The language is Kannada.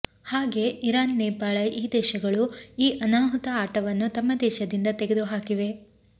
ಹಾಗೆ ಇರಾನ್ ನೇಪಾಳ ಈ ದೇಶಗಳು ಈ ಅನಾಹುತ ಆಟವನ್ನು ತಮ್ಮ ದೇಶದಿಂದ ತಗೆದುಹಾಕಿವೆ